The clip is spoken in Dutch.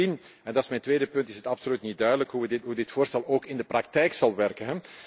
Bovendien, en dat is mijn tweede punt, is het absoluut niet duidelijk hoe dit voorstel in de praktijk zal werken.